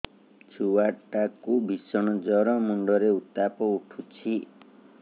ଛୁଆ ଟା କୁ ଭିଷଣ ଜର ମୁଣ୍ଡ ରେ ଉତ୍ତାପ ଉଠୁଛି